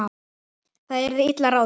Það yrði illa ráðið.